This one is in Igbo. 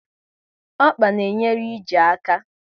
Ọkpa na enyere ije aka